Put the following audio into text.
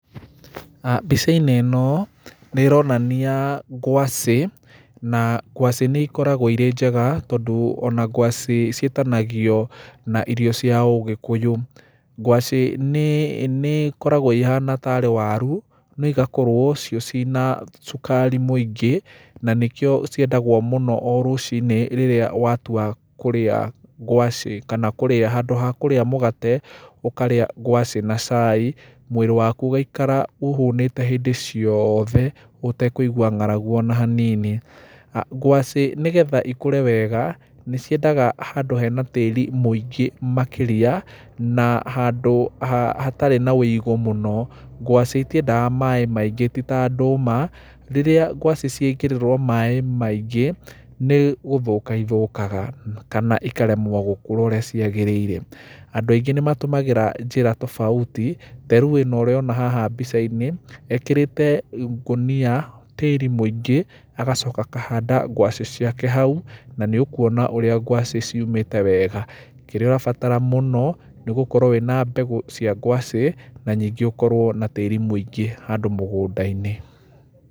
Mbica-inĩ ĩno, nĩ ĩronania ngwacĩ, na ngwacĩ nĩ ĩkoragwo irĩ njega tondũ ona ngwacĩ ciĩtanagio na irio cia ũgĩkũyũ, ngwacĩ nĩ nĩ ĩkoragwo ĩhana tarĩ waru, no ĩgakorwo cio cĩna cukari mwĩingĩ, na nĩkio ciendagwo mũno o rucinĩ rĩrĩa watua kũrĩa ngwacĩ kana kũrĩa, handũ ha kũrĩa mũgate, ũkarĩa ngwacĩ na cai, mwĩrĩ waku ũgaikara ũhũnĩte hĩndĩ ciothe, ũtekuigua ngaragu ona hanini. Ngwacĩ nĩgetha ikũre wega, nĩ ciendaga handũ hena tĩri mwĩingĩ makĩria, na handũ ha hatarĩ na wĩgũ mũno, ngwacĩ itiendaga maĩ maingĩ tita ndũma, rĩrĩa gwacĩ ciekĩrĩrwo maĩ maingĩ, nĩ gũthoka ithũkaga, kana ikaremwo gũkũra ũrĩa kwagĩrĩire, andũ aingĩ nĩ matũmagĩra njĩra tofauti, tarĩu ĩno ũrona haha mbica-inĩ, ekĩrĩte ngũnia tĩri mũingĩ, agacoka akahanda gwacĩ ciake hau, na nĩ ũkuona ũrĩa ngwacĩ ciumĩte wega, kĩrĩa ũrabatara mũno, nĩ gũkorwo wĩna mbegũ cia ngwacĩ, na nyingĩ ũkorwo na tĩri mũingĩ handũ mũgũnda-inĩ.